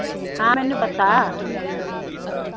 ਹਮ ਮੈਨੂੰ ਪਤਾ